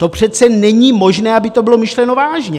To přece není možné, aby to bylo myšleno vážně!